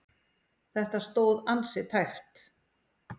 Þetta stóð ansi tæpt.